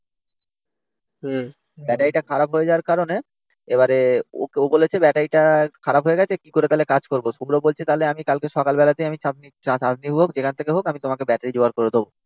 Battery টা খারাপ হয়ে যাওয়ার কারণে এবারে ও বলেছে ব্যাটারিটা খারাপ হয়ে গেছে কি করে তাহলে কাজ করবো? শুভ্র বলছে তাহলে আমি কাল সকালে আমি চাঁদনি হোক যেখান থেকে হোক আমি তোমাকে ব্যাটারি জোগাড় করে দেব।